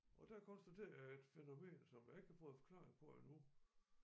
Og der konstaterede jeg et fænomen som jeg ikke har fået forklaring på endnu